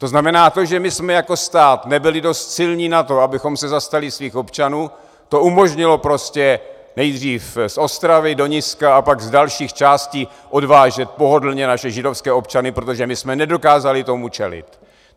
To znamená, to, že my jsme jako stát nebyli dost silní na to, abychom se zastali svých občanů, to umožnilo prostě nejdřív z Ostravy do Niska a pak z dalších částí odvážet pohodlně naše židovské občany, protože my jsme nedokázali tomu čelit.